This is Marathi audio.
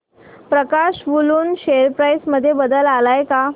प्रकाश वूलन शेअर प्राइस मध्ये बदल आलाय का